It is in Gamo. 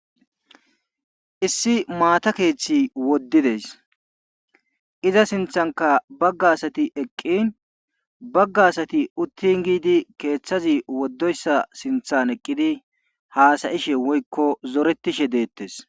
Issi maata keethi woddide iza sinthankka agga asati eqqin bagga asati uttin giidi keethaazi woddoyssa sinthan eqqidi haasa7ishe woykko zorettishe deettees.